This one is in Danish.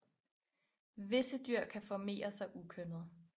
Visse dyr kan formerer sig ukønnet